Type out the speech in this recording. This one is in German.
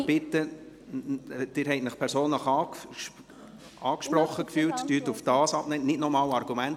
Sie haben sich persönlich angesprochen gefühlt, antworten Sie bitte ausschliesslich darauf, und bringen Sie nicht noch einmal Argumente.